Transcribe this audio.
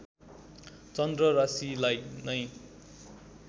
चन्द्र राशिलाई नै